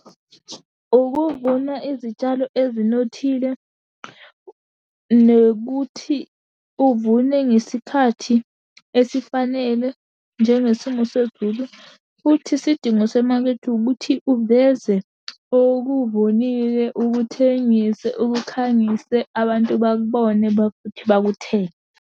Ukuvuna izitshalo esinothile, nokuthi uvune ngesikhathi esifanele njengesimo sezulu, futhi isidingo semakethe ukuthi uveze okubonile ukuthengise, ukhangise, abantu bakubone bakuthenge.